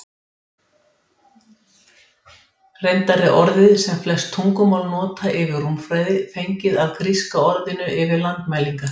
Reyndar er orðið sem flest tungumál nota yfir rúmfræði fengið af gríska orðinu yfir landmælingar.